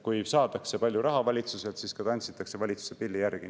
Kui saadakse palju raha valitsuselt, siis ka tantsitakse valitsuse pilli järgi.